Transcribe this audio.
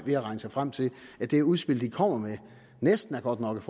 ved at regne sig frem til at det udspil den kommer med næsten er godt nok